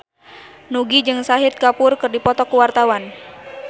Nugie jeung Shahid Kapoor keur dipoto ku wartawan